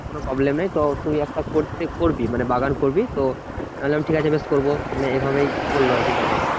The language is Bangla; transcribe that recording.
কোনো problem নেই তো তুই একটা করতে করবি মানে বাগান করবি। তো আমি বললাম ঠিক আছে বেশ করবো মানে এভাবেই বললো আরকি কাকা।